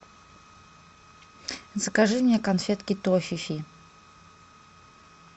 закажи мне конфетки тофифи